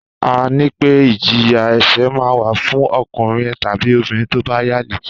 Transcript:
Àrẹ nipẹ; ìjíyà ese mà wà fún òkúnrin tàbí òbirín tọ bà yàlẹ